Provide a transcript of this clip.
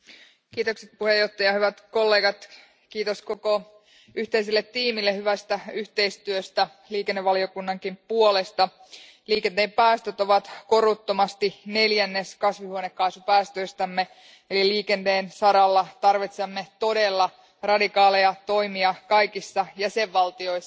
Arvoisa puhemies, hyvät kollegat, kiitos koko yhteiselle tiimille hyvästä yhteistyöstä liikennevaliokunnankin puolesta. Liikenteen päästöt ovat koruttomasti neljännes kasvihuonekaasupäästöistämme eli liikenteen saralla tarvitsemme todella radikaaleja toimia kaikissa jäsenvaltioissa.